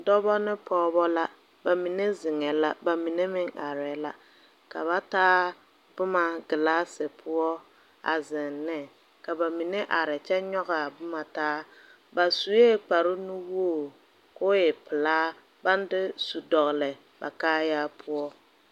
Dɔba ne pɔgba la ba menne zengɛɛ la ba menne meng arẽ la ka ba taa buma glassi pou a zeng ni ka ba menne arẽ kye nyugaa buma taa ba suɛ kpare nu wuori kuo e pelaa bang de su dɔgle ba kaaya pou.